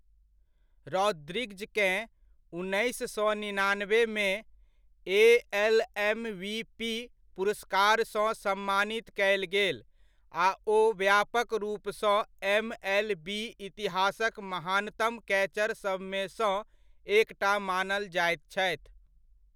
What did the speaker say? रॉद्रिग्जकेँ, उन्नैस सए निनानबेमे, ए.एल.एम.वी.पी. पुरस्कारसँ सम्मानित कयल गेल आ ओ व्यापक रूपसँ एम.एल.बी.इतिहासक महानतम कैचर सभमेसँ एकटा मानल जाइत छथि।